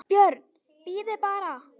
BJÖRN: Bíðið bara!